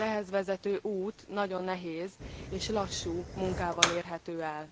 Az ehhez vezető út nagyon nehéz, és lassú munkával érhető el.